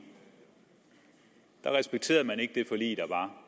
der respekterede man ikke det forlig der